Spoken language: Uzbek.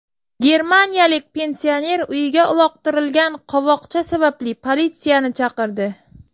Germaniyalik pensioner uyiga uloqtirilgan qovoqcha sababli politsiyani chaqirdi.